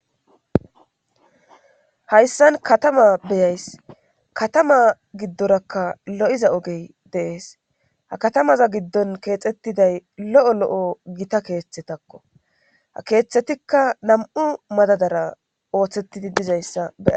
hayssan katama beyays katama giddorakka lo7iza ogey de'ees ha katamaza giddon keexettiday lo7o lo7o gita keeththetakko ha keeththetikka nam7u madadara ooththettidi dizayssa be'aysi